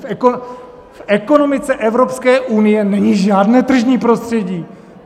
V ekonomice Evropské unie není žádné tržní prostředí.